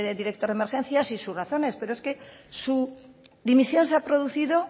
director de emergencias y sus razones pero es que su dimisión se ha producido